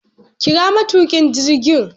kira matukin jirgin